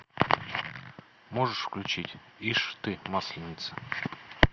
можешь включить ишь ты масленица